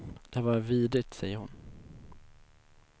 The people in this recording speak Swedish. Det har varit vidrigt, säger hon.